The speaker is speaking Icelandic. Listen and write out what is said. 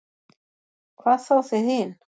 Hvað þá þið hin.